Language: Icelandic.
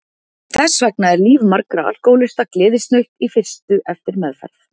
Þess vegna er líf margra alkohólista gleðisnautt í fyrstu eftir meðferð.